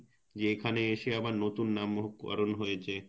যে এখানে এসে যে আবার নতুন নামকরন হয়েছে,